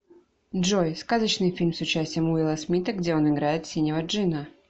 джой сказочный фильм с участием уилла смита где он играет синего джинна